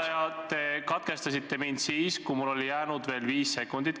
Juhataja, te katkestasite mind siis, kui mul oli kella järgi jäänud veel viis sekundit.